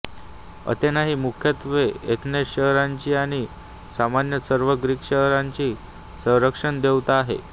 Athena ही मुख्यत्वे Athens शहराची आणि सामान्यत सर्व ग्रीक शहरांची संरक्षणदेवता आहे